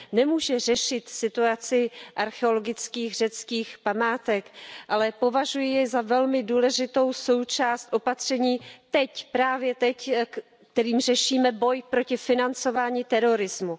Nemůže řešit situaci řeckých archeologických památek, ale považuji je za velmi důležitou součást opatření, teď, právě teď, kterými řešíme boj proti financování terorismu.